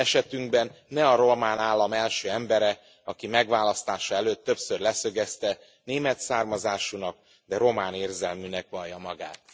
Esetünkben ne a román állam első embere, aki megválasztása előtt többször leszögezte német származásúnak, de román érzelműnek vallja magát.